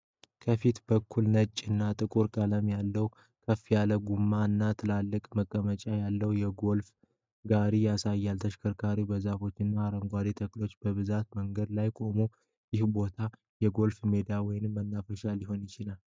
ከፊት በኩል ነጭ እና ጥቁር ቀለም ያለው፣ ከፍ ያለ ጎማ እና ትላልቅ መቀመጫዎች ያለው የጎልፍ ጋሪ ያሳያል። ተሽከርካሪው በዛፎችና አረንጓዴ ተክሎች በበዙበት መንገድ ላይ ቆሟል፤ ይህ ቦታ የጎልፍ ሜዳ ወይም መናፈሻ ሊሆን ይችላል?